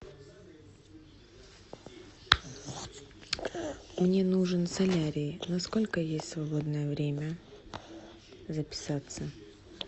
мне нужен солярий на сколько есть свободное время записаться